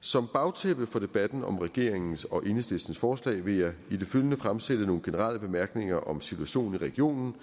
som bagtæppe for debatten om regeringens og enhedslistens forslag vil jeg i det følgende fremsætte nogle generelle bemærkninger om situationen i regionen